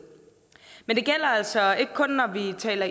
det gælder altså ikke kun når vi taler